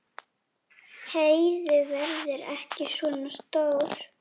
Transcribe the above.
Heiðu verði ekki svona stór.